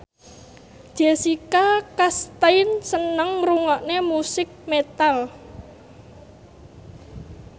Jessica Chastain seneng ngrungokne musik metal